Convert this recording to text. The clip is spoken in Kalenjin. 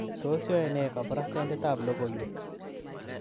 Tos yoe nee kabarastaindetab lokoiyweek?